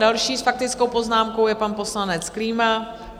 Další s faktickou poznámkou je pan poslanec Klíma.